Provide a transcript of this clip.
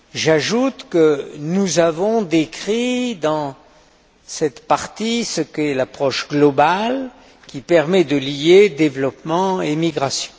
J'ajoute que nous avons décrit dans cette partie ce qu'est l'approche globale qui permet de lier développement et migration.